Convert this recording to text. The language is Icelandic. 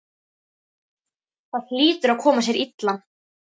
Það hlýtur að koma sér illa.